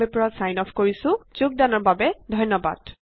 Ltdয়ে ধন্যবাদ।